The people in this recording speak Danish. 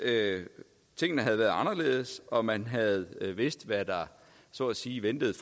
tingene havde været anderledes og man havde vidst hvad der så at sige ventede